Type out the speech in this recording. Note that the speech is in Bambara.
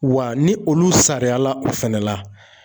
Wa ni olu sariyala o fɛnɛ la